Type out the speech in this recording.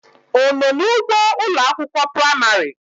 Ono na ugbo Ụlọ akwụkwọ praịmarị?